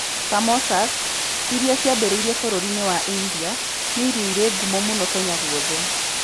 Samosas, iria ciambĩrĩirie bũrũri-inĩ wa India, nĩ irio irĩ ngumo mũno Kenya guothe.